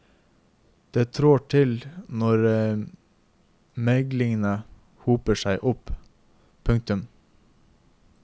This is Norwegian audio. Det trår til når meglingene hoper seg opp. punktum